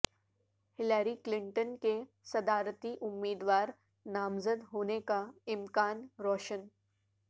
Hillary Clinton کے صدارتی امیدوار نامزد ہونے کا امکان روشن